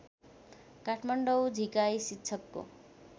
काठमाडौँ झिकाई शिक्षकको